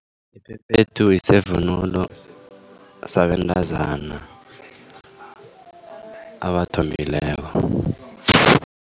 Iphephethu yisevunulo sabentazana abathombileko.